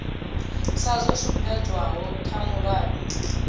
sa zwo sumbedzwaho kha mulayo